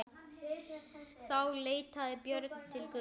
Þá leitaði Björn til Guðs.